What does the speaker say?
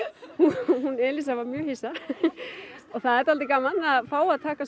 hún Elíza var mjög hissa og það er gaman að fá að taka